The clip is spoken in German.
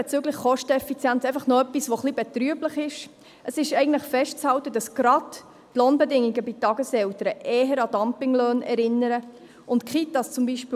Bezüglich der Kosteneffizienz noch etwas, was ein wenig betrüblich ist: Es ist festzuhalten, dass gerade die Lohnbedingungen bei Tageseltern eher an Dumpinglöhne erinnern und die Kitas, zum Beispiel,